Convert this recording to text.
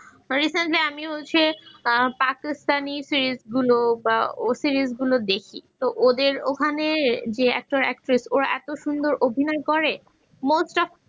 মানে recently আমি হচ্ছে আহ পাকিস্তানি series গুলো বা series গুলো দেখি তো ওদের ওখানে যে actor actress ওরা এত সুন্দর অভিনয় করে most of